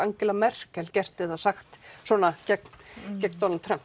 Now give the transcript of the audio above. Merkel gert eða sagt gegn Donald Trump